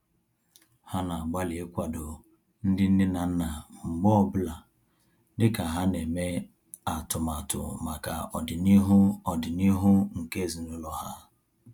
Ha na-agbalị ikwado ndị nne na nna mgbe ọ bụla dịka ha na-eme atụmatụ maka ọdịnihu ọdịnihu nke ezinaụlọ ha